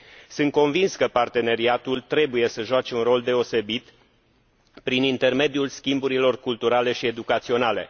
Sunt convins că parteneriatul trebuie să joace un rol deosebit, prin intermediul schimburilor culturale și educaționale.